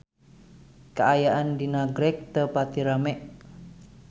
Kaayaan di Nagreg teu pati rame